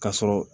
Ka sɔrɔ